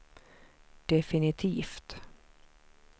definitivt